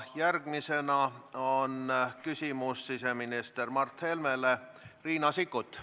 Järgmiseks on küsimus siseminister Mart Helmele Riina Sikkutil.